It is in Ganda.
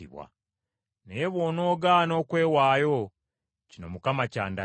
Naye bwonoogaana okwewaayo, kino Mukama kyandaze: